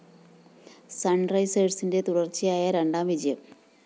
സണ്‍റൈസേഴ്‌സിന്റെ തുടര്‍ച്ചയായ രണ്ടാം വിജയം